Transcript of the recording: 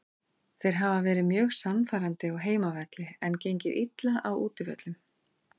Þeir hafa verið mjög sannfærandi á heimavelli en gengið illa á útivöllum.